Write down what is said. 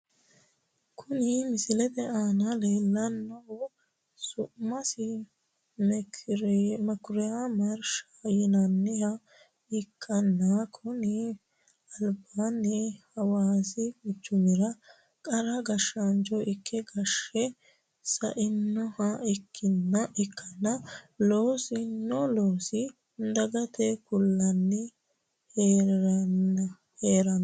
Kuni misilete aana leellannohu su'masi mekuriya marsha yinanniha ikkanna, konni albaanni hawaasi quchumira qara gashshaancho ikke gashshe sa'inoha ikkanna, loosino loossa dagate kulanni hee'reenna.